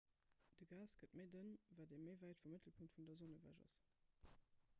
de gas gëtt méi dënn wat ee méi wäit vum mëttelpunkt vun der sonn ewech ass